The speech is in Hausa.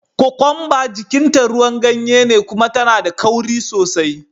Kokwamba jikin ta ruwan ganye ne kuma tana da kauri sosai.